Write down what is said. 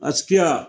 Askia